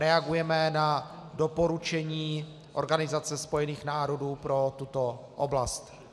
Reagujeme na doporučení Organizace spojených národů pro tuto oblast.